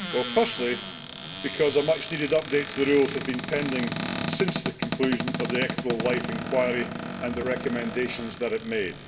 Firstly, because a much needed update to the rules has been pending since the conclusion of the Equitable Life inquiry and the recommendations that it made.